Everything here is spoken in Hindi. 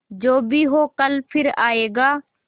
जो भी हो कल फिर आएगा